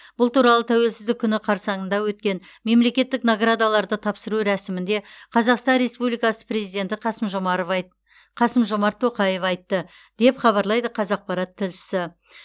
бұл туралы тәуелсіздік күні қарсаңында өткен мемлекеттік наградаларды тапсыру рәсімінде қазақстан республикасы президенті қасым жомарвай қасым жомарт тоқаев айтты деп хабарлайды қазақпарат тілшісі